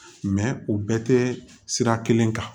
u bɛɛ tɛ sira kelen kan